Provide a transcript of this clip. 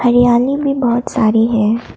हरियाली में बहुत सारे है।